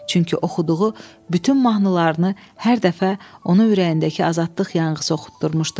Çünki oxuduğu bütün mahnılarını hər dəfə onu ürəyindəki azadlıq yanğısı oxutdurmuşdu.